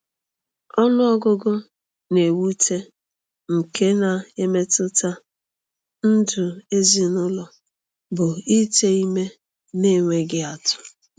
Ọnụ ọgụgụ na-ewute nke na-emetụta ndụ ezinụlọ bụ ite ime n’enweghị atụ.